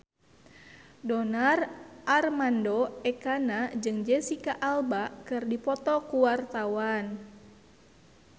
Donar Armando Ekana jeung Jesicca Alba keur dipoto ku wartawan